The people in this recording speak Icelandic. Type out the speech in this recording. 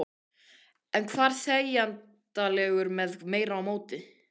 Hann var þegjandalegur með meira móti.